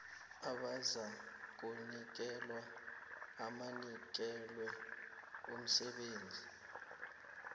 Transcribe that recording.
abazakunikelwa abanikelwe umsebenzi